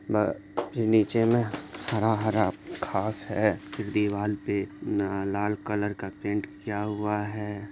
निचे मैं हरा-हरा घास हैं दीवाल पे न लाल कलर का पेंट किया हुआ हैं।